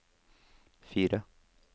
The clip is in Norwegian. fire